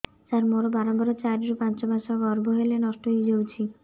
ସାର ମୋର ବାରମ୍ବାର ଚାରି ରୁ ପାଞ୍ଚ ମାସ ଗର୍ଭ ହେଲେ ନଷ୍ଟ ହଇଯାଉଛି